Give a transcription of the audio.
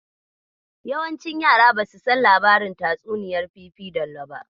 Yawancin yaran basu san labarin tatsuniyar fifidallo ba.